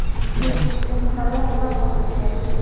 besh yoshli qizaloq vafot etgan.